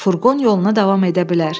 Furqon yoluna davam edə bilər.